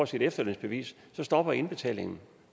sit efterlønsbevis stopper indbetalingen